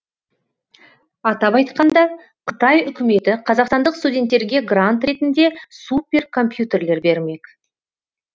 атап айтқанда қытай үкіметі қазақстандық студенттерге грант ретінде суперкомпьютерлер бермек